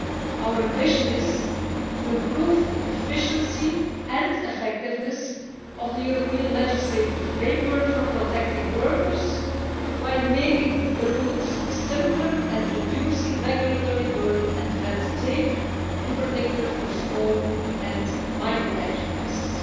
Our ambition is to improve the efficiency and effectiveness of the European legislative framework for protecting workers while making the rules simpler and reducing regulatory burden and red tape, in particular for small and micro enterprises.